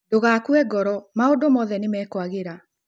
Ndũgakue ngoro maũndu mothe nĩmekwagĩra